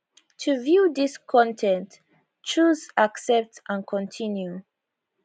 to view dis con ten t choose accept and continue